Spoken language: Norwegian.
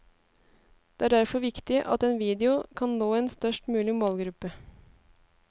Det er derfor viktig at en video kan nå en størst mulig målgruppe.